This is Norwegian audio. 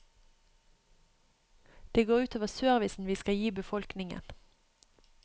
Det går ut over servicen vi skal gi befolkningen.